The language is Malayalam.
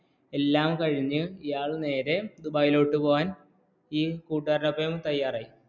എല്ലാം കഴിഞ്ഞ് ഇയാൾ നേരെ ദുബായിലോട്ടു പോക്കൻ ഈ കൂട്ടുകാരൻ ഒപ്പം തയ്യാറായി